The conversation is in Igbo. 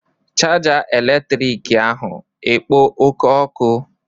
chaja eletrịtrịkị ahụ ekpo oke ọkụ?